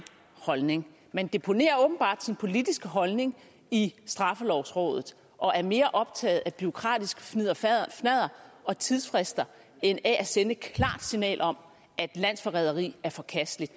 holdning man deponerer åbenbart sin politiske holdning i straffelovrådet og er mere optaget af bureaukratisk fnidderfnadder og tidsfrister end af at sende et klart signal om at landsforræderi er forkasteligt